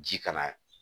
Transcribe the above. Ji kana